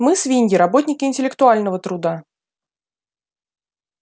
мы свиньи работники интеллектуального труда